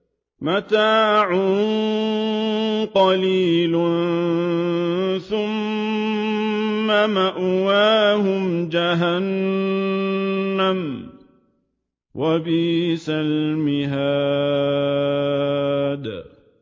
مَتَاعٌ قَلِيلٌ ثُمَّ مَأْوَاهُمْ جَهَنَّمُ ۚ وَبِئْسَ الْمِهَادُ